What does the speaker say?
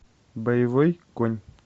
боевой конь